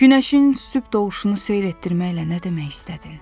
Günəşin sübh doğuşunu seyr etdirməklə nə demək istədin?